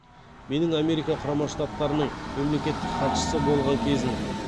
менің америка құрама штаттарының мемлекеттік хатшысы болған кезім